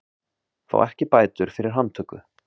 Fá ekki bætur fyrir handtöku